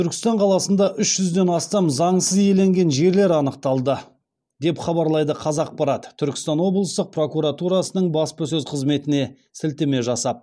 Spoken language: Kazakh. түркістан қаласында үш жүзден астам заңсыз иеленген жерлер анықталды деп хабарлайды қазақпарат түркістан облыстық прокуратурасының баспасөз қызметіне сілтеме жасап